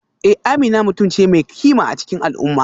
Eh Amina mutum ce mai kima a cikin al'umma